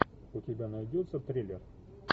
у тебя найдется триллер